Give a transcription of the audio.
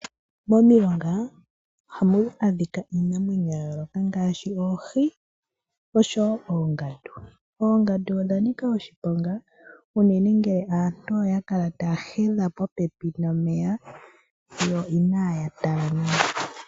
Momilonga ohamu adhika iinamwenyo ya yooloka ngaashi oohi oshowo oongandu. Oongandu odha nika oshiponga unene ngele aauntu oya kala taya hedha popepi nomeya yo inaaya tala nawa.